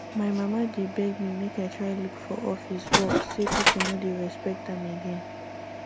my mama dey beg me make i try look for office work say people no dey respect am again